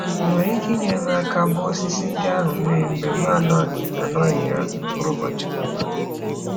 Ị nwere ike inyere m aka gbaa osisi ndị ahụ mmiri mgbe m anoghị m anoghị ya mkpụrụ ụbọchị ole na ole?